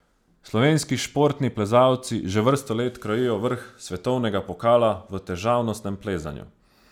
Slovenski športni plezalci že vrsto let krojijo vrh svetovnega pokala v težavnostnem plezanju.